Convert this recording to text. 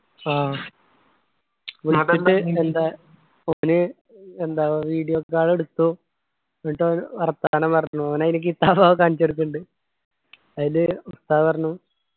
ആഹ് എന്താ ഓന് എന്താ video call എടുത്തു എന്നിട്ട് ഓൻ വർത്താനം പറഞ്ഞു ഓൻ അനിക്ക് കാണിച്ചു കൊടുക്ക്ന്നിണ്ടു അയിന് ഉസ്താദ് പറഞ്ഞു